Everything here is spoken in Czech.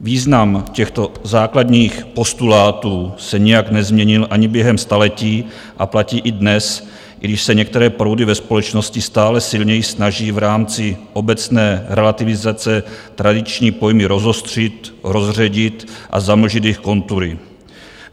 Význam těchto základních postulátů se nijak nezměnil ani během staletí a platí i dnes, i když se některé proudy ve společnosti stále silněji snaží v rámci obecné relativizace tradiční pojmy rozostřit, rozředit a zamlžit jejich kontury.